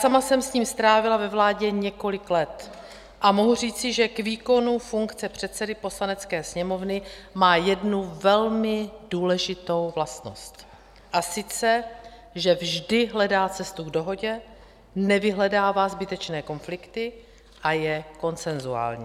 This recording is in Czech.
Sama jsem s ním strávila ve vládě několik let a mohu říci, že k výkonu funkce předsedy Poslanecké sněmovny má jednu velmi důležitou vlastnost, a sice že vždy hledá cestu k dohodě, nevyhledává zbytečné konflikty a je konsenzuální.